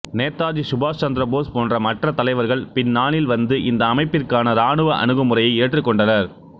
நேதாஜி சுபாஷ் சந்திர போஸ் போன்ற மற்ற தலைவர்கள் பின்னாளில் வந்து இந்த அமைப்பிற்கான ராணுவ அணுகுமுறையை ஏற்றுக்கொண்டனர்